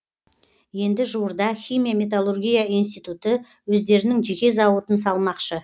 енді жуырда химия металлургия институты өздерінің жеке зауытын салмақшы